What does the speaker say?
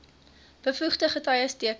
bevoegde getuies teken